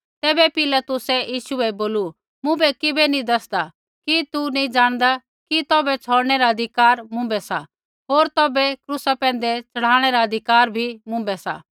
तैबै पिलातुसै यीशु बै बोलू मुँभै किबै नैंई दसदा कि तू नैंई जाणदा कि तौभै छ़ौड़नै रा अधिकार मुँभै सा होर तौभै क्रूसा पैंधै च़ढ़ाणै रा अधिकार भी मुँभै सा